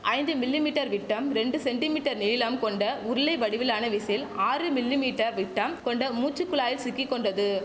ஐந்து millimetre விட்டம் ரெண்டு சென்டி மீட்டர் நீளம் கொண்ட உருளை வடிவிலான விசில் ஆறு மில்லி மீட்டர் விட்டம் கொண்ட மூச்சுக் குழாயில் சிக்கிக்கொண்டது